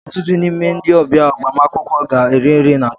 Ọtụtụ n'ime ndị ọbịa agbamakwụkwọ ga-eri ihe na chọọchị.